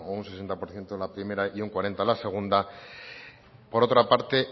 un sesenta por ciento la primera y un cuarenta la segunda por otra parte